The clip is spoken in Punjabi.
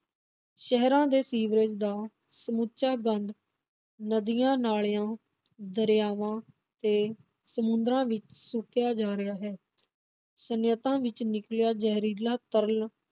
ਸ਼ਹਿਰਾਂ ਦੇ ਸੀਵਰੇਜ ਦਾ ਸਮੁੱਚਾ ਗੰਦ ਨਦੀਆਂ ਨਾਲਿਆਂ, ਦਰਿਆਵਾਂ ਤੇ ਸਮੁੰਦਰਾਂ ਵਿਚ ਸੁੱਟਿਆ ਜਾ ਰਿਹਾ ਹੈ, ਸਨਅੱਤਾਂ ਵਿਚੋਂ ਨਿਕਲਿਆ ਜ਼ਹਿਰੀਲਾ ਤਰਲ